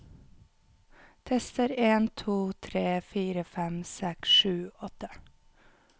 Tester en to tre fire fem seks sju åtte